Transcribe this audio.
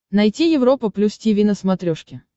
найти европа плюс тиви на смотрешке